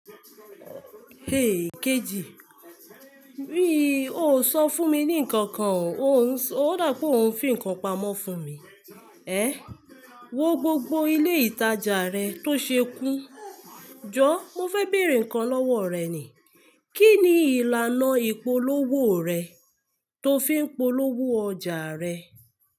Hey kejì, bí o ò sọ fún mi ní nǹkan kan, ó dà pé o ń fi ǹkan pamọ́ fún mi. Ẹ, wo gbogbo ilé ìtajà rẹ tó ṣe kún. Jọ, mo fẹ́ bèrè ǹkan lọ́wọ́ rẹ ni. Kí ni ìlànà ìpolówó rẹ tó fi ń polówó ọjà rẹ?